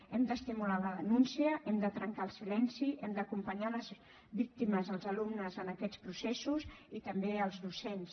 hem d’estimular la denúncia hem de trencar el silenci hem d’acompanyar les víctimes els alumnes en aquests processos i també els docents